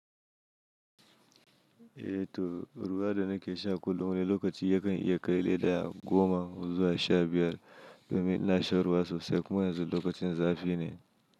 Eh to, ruwa da na ke sha kullum ne lokacin yakan iya kai leda goma zuwa sha biyar domin ina shan ruwa sosai kuma yanzu lokacin zafi ne.